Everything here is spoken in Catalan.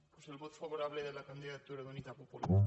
doncs el vot favorable de la candidatura d’unitat popular